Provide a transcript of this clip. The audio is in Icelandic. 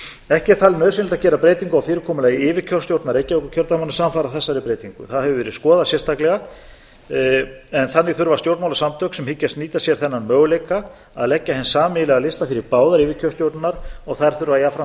ekki er talið nauðsynlegt að gera breytingu á fyrirkomulagi yfirkjörstjórna reykjavíkurkjördæmanna samfara þessari breytingu það hefur verið skoðað sérstaklega en þannig þurfa stjórnmálasamtök sem hyggjast nýta sér þennan möguleika að leggja hinn sameiginlega lista fyrir báðar yfirkjörstjórnirnar og þær þurfa jafnframt